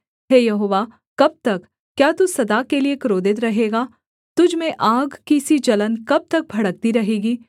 हे यहोवा कब तक क्या तू सदा के लिए क्रोधित रहेगा तुझ में आग की सी जलन कब तक भड़कती रहेगी